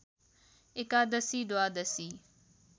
एकादशी द्वादशी